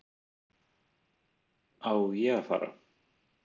Á ég að fara?